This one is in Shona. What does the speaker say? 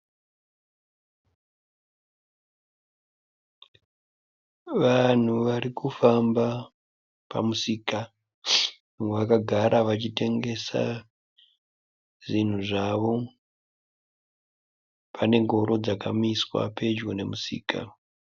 Vanhu vari kufamba pamusika, vakagara vachitengesa zvinhu zvavo. Pane ngoro dzakamiswa pedyo nemusika.